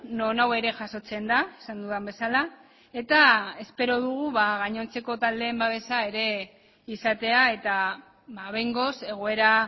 non hau ere jasotzen da esan dudan bezala eta espero dugu gainontzeko taldeen babesa ere izatea eta behingoz egoera